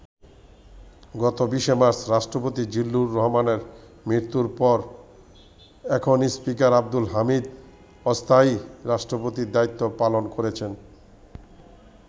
গত ২০শে মার্চ রাষ্ট্রপতি জিল্লুর রহমানের মৃত্যুর পর এখন স্পীকার আবদুল হামিদ অস্থায়ী রাষ্ট্রপতির দায়িত্ব পালন করেছেন।